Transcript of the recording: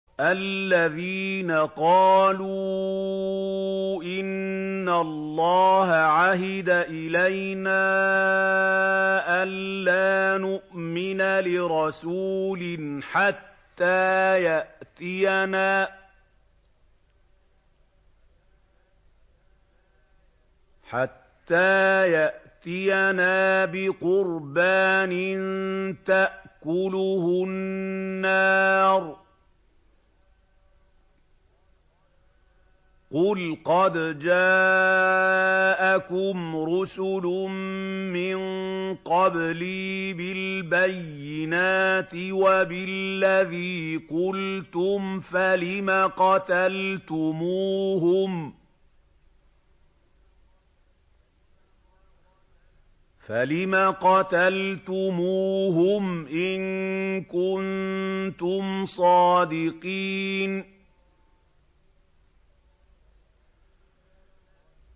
الَّذِينَ قَالُوا إِنَّ اللَّهَ عَهِدَ إِلَيْنَا أَلَّا نُؤْمِنَ لِرَسُولٍ حَتَّىٰ يَأْتِيَنَا بِقُرْبَانٍ تَأْكُلُهُ النَّارُ ۗ قُلْ قَدْ جَاءَكُمْ رُسُلٌ مِّن قَبْلِي بِالْبَيِّنَاتِ وَبِالَّذِي قُلْتُمْ فَلِمَ قَتَلْتُمُوهُمْ إِن كُنتُمْ صَادِقِينَ